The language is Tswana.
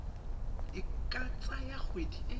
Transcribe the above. e ka tsaya kgwedi e